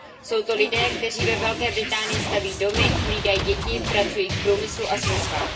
Jsou to lidé, kteří ve Velké Británii staví domy, hlídají děti, pracují v průmyslu a službách.